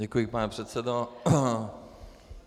Děkuji, pane předsedo.